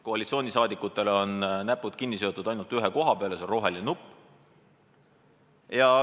Koalitsiooni liikmetel on näpud kinni seotud ainult ühe koha peale, see on roheline nupp.